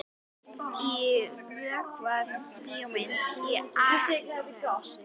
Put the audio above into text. Ég vökvaði blómin á Akranesi.